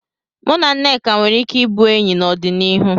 Mụ na Nneka nwere ike ịbụ enyi n'ọdịnihu.